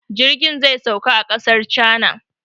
Jirgin zai sauka a ƙasar cana